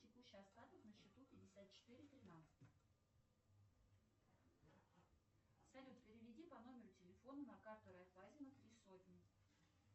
текущий остаток на счету пятьдесят четыре тринадцать салют переведи по номеру телефона на карту райфайзера три сотни